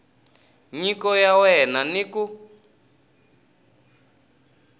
nyiko ya wena ni ku